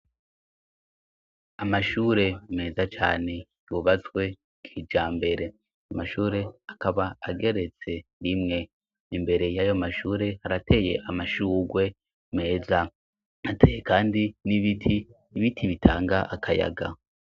Amashure meza cane yubatswe kijambere; amashure akaba ageretse rimwe. Imbere y'ayo mashure harateye amashurwe meza. Hateye kandi n'ibiti, ibiti bitanga akayaga.